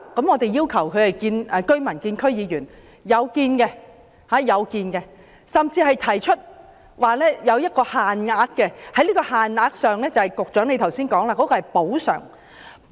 我們要求居民與區議員會面，這是有做到的，甚至提出有限額的補償，即局長剛才所說的補償。